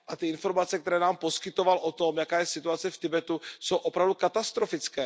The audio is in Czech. Ty informace, které nám poskytoval o tom, jaká je situace v Tibetu, jsou opravdu katastrofické.